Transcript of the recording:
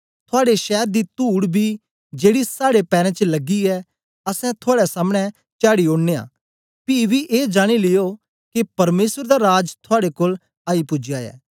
थुआड़े शैर दी तूड़ बी जेड़ी साड़े पैरें च लगी ऐ असैं थुआड़े सामने चाढ़ी ओड़नयां पी बी ए जानी लियो के परमेसर दा राज थुआड़े कोल आई पूजया ऐ